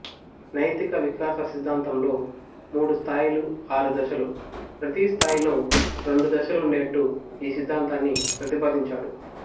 నైతిక వికాస సిద్ధాంతంలో మూడు స్థాయిలు ఆరు దశలు ప్రతి స్థాయిలో రెండు దశలు ఉండేట్టు ఈ సిద్ధాంతాన్ని ప్రతిపాదించాడు